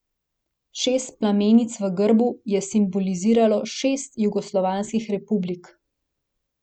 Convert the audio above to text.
Šest plamenic v grbu je simboliziralo šest jugoslovanskih republik.